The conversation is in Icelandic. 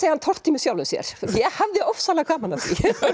hann tortími sjálfum sér ég hafði ofslega gaman af því